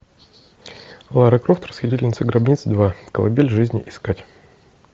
лара крофт расхитительница гробниц два колыбель жизни искать